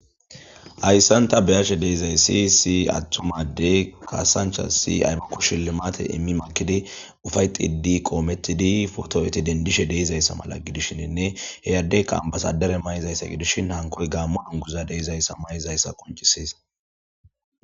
Ayssanta beyashe deizay si si attumadey kaasancha si aypukkushili maate immi makidi ufay xidi qoomettidi foto'eti dendishe deizayssa mala gidishiinne heyaddeyka basadare may'izayssa gidishin hankoy gaammo anguza deizayssa may'izayssa qoncisis.